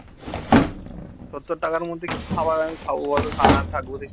সত্তর টাকার মধ্যে কি খাবার আমি খাবো বলতো